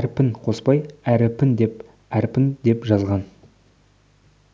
әрпін қоспай әріпін деп әрпін деп жазған